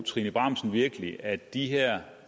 trine bramsen virkelig at de her